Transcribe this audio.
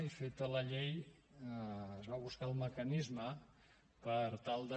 i feta la llei es va buscar el mecanisme per tal de